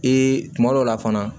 Ee kuma dɔw la fana